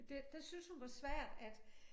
Det det syntes hun var svært at at